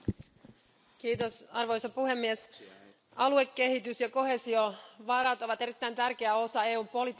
Arvoisa puhemies, aluekehitys ja koheesiovarat ovat erittäin tärkeä osa EUn politiikkaa ja budjettia.